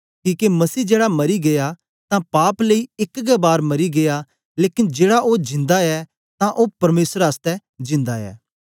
किके मसीह जेड़ा मरी गीया तां पाप लेई एक गै बार मरी गीया लेकन जेड़ा ओ जिन्दा ऐ तां ओ परमेसर आसतै जिन्दा ऐ